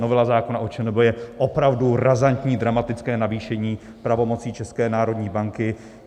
Novela zákona o ČNB je opravdu razantní, dramatické navýšení pravomocí České národní banky.